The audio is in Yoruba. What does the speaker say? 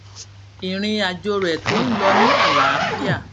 ìrìn àjò rè tó ń lọ ní àlàáfíà